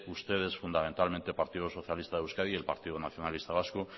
ustedes fundamentalmente partido socialista de euskadi y partido nacionalista vasco